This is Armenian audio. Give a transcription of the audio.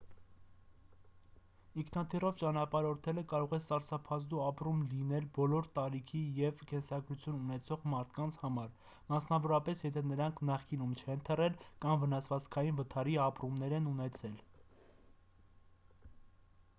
ինքնաթիռով ճանապարհորդելը կարող է սարսափազդու ապրում լինել բոլոր տարիքի և կենսագրություն ունեցող մարդկանց համար մասնավորապես եթե նրանք նախկինում չեն թռել կամ վնասվածքային վթարի ապրում են ունեցել